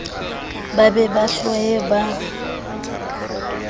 ba be ba hloye ba